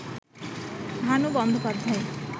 Bhanu Bandopadhyay